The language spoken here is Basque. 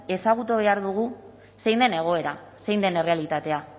ezagutu behar dugu zein den egoera zein den errealitatea